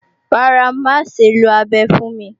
Rárá, má ṣe lo abẹ fún mi